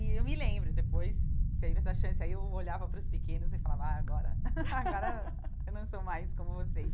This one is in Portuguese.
E eu me lembro, depois teve essa chance, aí eu olhava para os pequenos e falava, ah agora agora eu não sou mais como vocês.